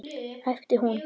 æpti hún.